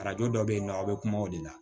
Arajo dɔ bɛ yen nɔ a bɛ kuma o de la